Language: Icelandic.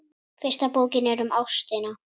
Fyrsta bókin er um ástina.